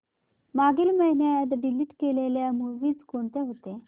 मागील महिन्यात डिलीट केलेल्या मूवीझ कोणत्या होत्या